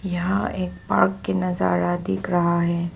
यहां एक पार्क के नजारा दिख रहा है।